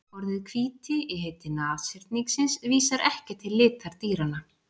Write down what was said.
Orðið hvíti í heiti nashyrningsins vísar ekki til litar dýranna.